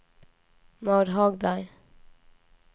Maud Hagberg